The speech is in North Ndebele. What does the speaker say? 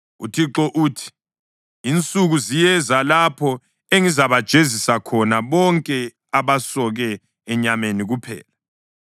UThixo uthi, “Insuku ziyeza, lapho engizabajezisa khona bonke abasoke enyameni kuphela,